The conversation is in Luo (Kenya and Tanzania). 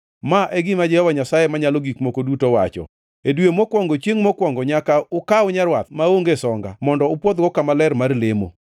“ ‘Ma e gima Jehova Nyasaye Manyalo Gik Moko Duto wacho: E dwe mokwongo chiengʼ mokwongo nyaka ukaw nyarwath maonge songa mondo upwodhgo kama ler mar lemo.